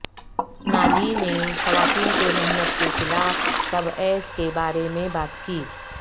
نالی نے خواتین کے محنت کے خلاف تبعیض کے بارے میں بات کی